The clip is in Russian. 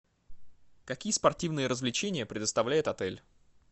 какие спортивные развлечения предоставляет отель